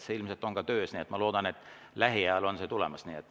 See ilmselt on juba töös ja ma loodan, et lähiajal on see tulemas.